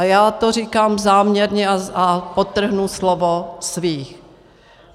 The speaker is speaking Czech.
A já to říkám záměrně a podtrhnu slovo svých.